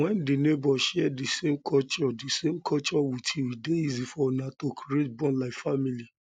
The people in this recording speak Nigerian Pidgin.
when di neighbour share di same culture di same culture with you e dey easier for una to creat bond like family